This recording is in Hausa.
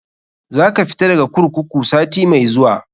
Za ka fita daga kurkuku sati mai zuwa.